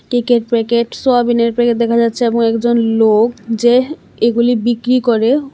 কেকের প্যাকেট সোয়াবিনের প্যাকেট দেখা যাচ্ছে এবং একজন লোক যে এগুলি বিক্রি করে--